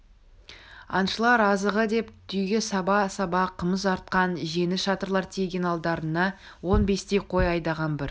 аңшылар азығы деп түйеге саба-саба қымыз артқан жеңіл шатырлар тиеген алдарына он бестей қой айдаған бір